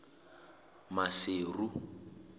maseru